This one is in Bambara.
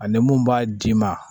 Ani mun b'a d'i ma